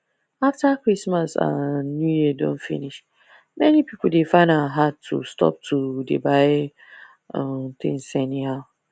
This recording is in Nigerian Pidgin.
after christmas and new year don finish many people dey find am hard to stop to dey buy um tins anyhow